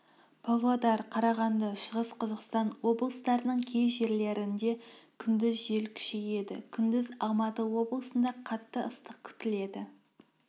павлодар карағанды шығыс қазақстан облыстарының кей жерлерінде күндіз жел күшейеді күндіз алматы облысында қатты ыстық күтіледі